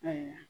Ayiwa